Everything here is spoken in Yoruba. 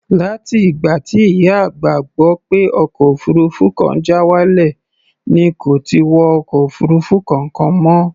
Láti ìgbà tí ìyá àgbà gbọ́ pé ọkọ̀ òfuurufú kan já wálẹ̀ ni kò ti wọ ọkọ̀ òfuurufú kankan mọ́.